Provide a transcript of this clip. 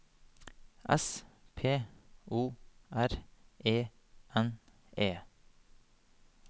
S P O R E N E